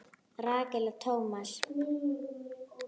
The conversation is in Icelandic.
Rakel og Thomas.